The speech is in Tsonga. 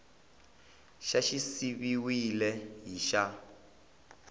xa xi siviwile hi xa